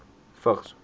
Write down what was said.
vigs